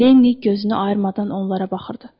Lenni gözünü ayırmadan onlara baxırdı.